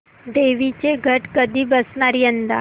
देवींचे घट कधी बसणार यंदा